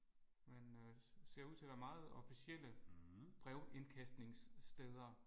Men ser ud til at være meget officielle brevindkastningssteder